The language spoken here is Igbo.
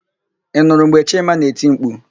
Ị nụrụ mgbe Chima na-eti mkpu?